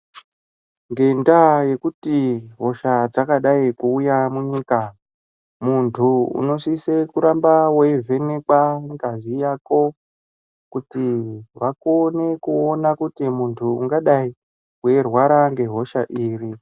Ngenda yekuti hoshaa dzakadai kuuya mu nyika muntu unosise kuramba wei vhenekwa ngazi yako kuti vakone kuona kuti muntu ungadai wei rwara nge hosha iri.